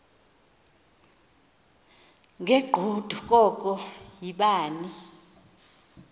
ngegqudu koko yibani